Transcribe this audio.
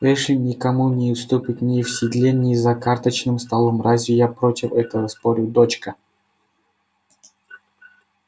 эшли никому не уступит ни в седле ни за карточным столом разве я против этого спорю дочка